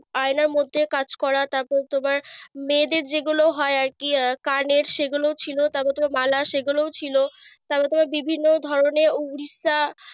আয়নার মধ্যে কাজ করা। তারপর তোমার মেয়েদের যেগুলো হয় আরকি আহ কানের সেগুলো ছিল তার মধ্যেও বালা গুলো ছিল। তার মধ্যে আবার বিভিন্ন ধরনের উড়িষ্যা,